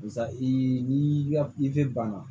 Barisa i ni ka ifi banna